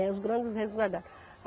Né, os grandes resguardaram.